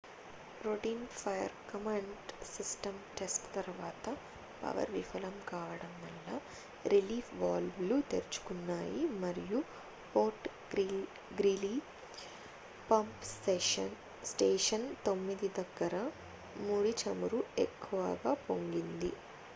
routine fire command system test తరువాత power విఫలం కావడం వల్ల రిలీఫ్ వాల్వ్ లు తెరుచుకున్నాయి మరియు ఫోర్ట్ గ్రీలీ పంప్ స్టేషన్ 9 దగ్గర ముడి చమురు ఎక్కువగా పొంగింది